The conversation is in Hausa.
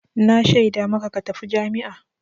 Na shaida maka ka tafi jami'a!